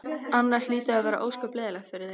Annars hlýtur það að vera ósköp leiðinlegt fyrir þig.